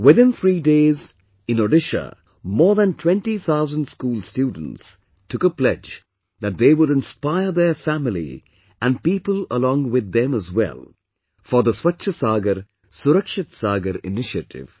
Within three days in Odisha, more than 20 thousand school students took a pledge that they would inspire their family and people along with them as well, for the Swachh Sagar Surakshit Sagar initiative